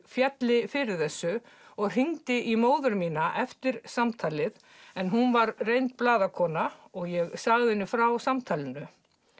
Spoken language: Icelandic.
félli fyrir þessu og hringdi í móður mína eftir samtalið en hún var reynd blaðakona og sagði henni frá samtalinu